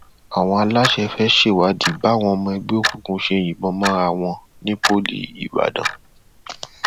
àwọn aláṣẹ fẹẹ ṣèwádìí báwọn ọmọ ẹgbẹ òkùnkùn ṣe yìnbọn mọra wọn ní pọlí ìbàdàn